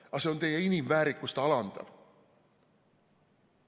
Aga see on teie inimväärikust alandav.